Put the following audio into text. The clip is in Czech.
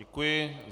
Děkuji.